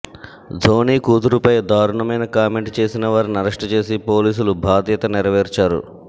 ధోని కూతురుపై దారుణమైన కామెంట్ చేసిన వారిని అరెస్ట్ చేసి పోలీసులు బాధ్యత నెరవేర్చారు